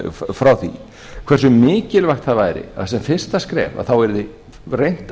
frá því hversu mikilvægt það væri að sem fyrsta skref yrði reynt